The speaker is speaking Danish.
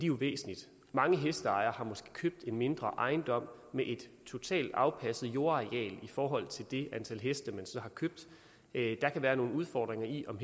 jo væsentligt mange hesteejere har måske købt en mindre ejendom med et totalt afpasset jordareal i forhold til det antal heste man har købt der kan være nogle udfordringer i om